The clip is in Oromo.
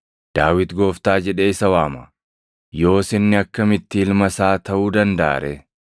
Daawit ‘Gooftaa’ jedhee isa waama. Yoos inni akkamitti ilma isaa taʼuu dandaʼa ree?”